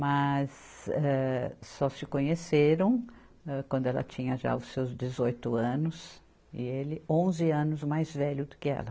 Mas, eh, só se conheceram, âh, quando ela tinha já os seus dezoito anos, e ele onze anos mais velho do que ela.